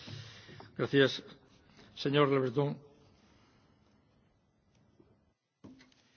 Monsieur le Président, les questions posées par le Parlement européen soulèvent, à mes yeux, deux difficultés.